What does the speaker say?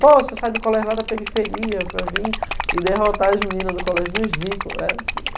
Pô, você sai do colégio lá da periferia para vir e derrotar as meninas do colégio dos ricos. É